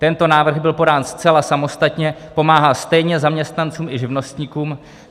Tento návrh byl podán zcela samostatně, pomáhá stejně zaměstnancům i živnostníkům.